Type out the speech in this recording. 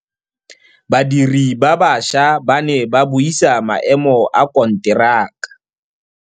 Badiri ba baša ba ne ba buisa maêmô a konteraka.